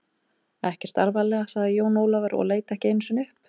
Ekkert alvarlega, sagði Jón Ólafur og leit ekki einu sinni upp.